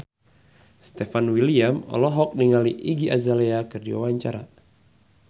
Stefan William olohok ningali Iggy Azalea keur diwawancara